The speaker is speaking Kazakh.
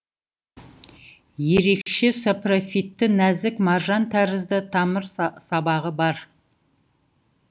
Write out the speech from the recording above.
ерекше сапрофитті нәзік маржан тәрізді тамыр сабағы бар